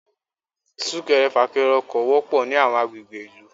Súkẹrẹ fàkẹrẹ ọkọ̀ wọpọ̀ ní àwọn àgbègbè ìlú.